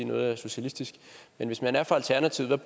noget er socialistisk men hvis man er fra alternativet